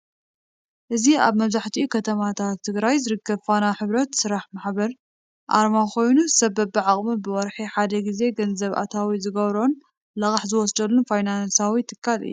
እዚ አብ መብዘሐትኡ ከተማታት ትግራይ ዝርከብ ፋና ሕብረት ስራሕ ማሕበር አርማ ኮይኑ ሰብ በቢዓቅሙ ብወርሒ ሐደ ግዜ ገንዘብ አታዊ ዝግበሮን ልቃሕ ዝውሰዶን ፋይናንሳዊ ትካል እዩ።